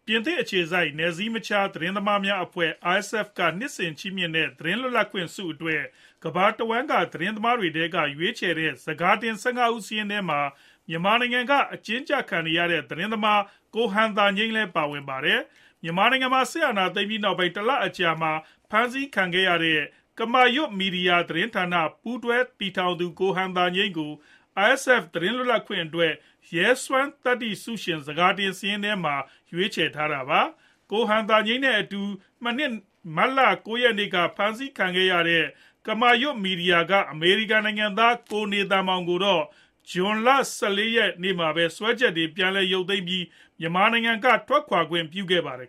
ပြင်သစ်အခြေစိုက် နယ်စည်းမခြား သတင်းသမားများအဖွဲ့ RSF က နှစ်စဉ် ချီးမြှင့်တဲ့ သတင်းလွတ်လပ်ခွင့်ဆု အတွက် ကမ္ဘာတဝှမ်းက သတင်းသမားတွေထဲက ရွေးချယ်တဲ့ ဆန်ကာတင် ၁၅ ဦး စာရင်းထဲမှာ မြန်မာနိုင်ငံက အကျဉ်းကျခံနေရတဲ့ သတင်းသမား ကိုဟန်သာငြိမ်း လည်း ပါဝင်ပါတယ်။ မြန်မာနိုင်ငံမှာ စစ်အာဏာသိမ်းပြီးနောက်ပိုင်း တလလောက် အကြာမှာ ဖမ်းဆီးခံခဲ့ရတဲ့ ကမာရွတ်မီဒီယာ သတင်းဌာန ပူးတွဲတည်ထောင်သူ ကိုဟန်သာငြိမ်းကို RSF သတင်းလွတ်လပ်ခွင့်အတွက် ရဲစွမ်းသတ္တိိဆုရှင် ဆန်ကာတင်စာရင်းမှာ ရွေးချယ်ထားတာပါ။ ကိုဟန်သာငြိမ်း နဲ့ အတူ မနှစ် မတ်လ ၉ ရက်နေ့က ဖမ်းဆီးခံခဲ့ရတဲ့ ကမာရွတ်မီဒီယာက အမေရိကန်နိုင်ငံသား ကိုနေသန်မောင် ကိုတော့ ဇွန်လ ၁၄ ရက်နေ့မှာပဲ စွဲချက်တွေ ပြန်ရုပ်သိမ်းခဲ့ပြီး မြန်မာပြည်က ထွက်ခွာခွင့်ပြုခဲ့ပါတယ်